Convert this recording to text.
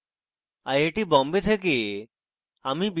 I I T Bombay থেকে amal বিদায় নিচ্ছি